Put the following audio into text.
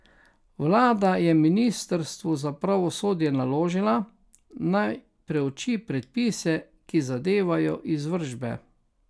Vlada je ministrstvu za pravosodje naložila, naj preuči predpise, ki zadevajo izvršbe.